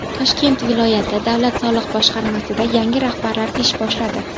Toshkent viloyati davlat soliq boshqarmasida yangi rahbarlar ish boshladi.